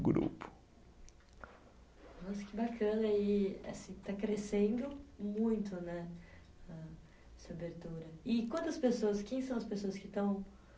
Grupo. Nossa, que bacana, e assim está crescendo muito, né, âh, essa abertura. E quantas pessoas, quem são as pessoas que estão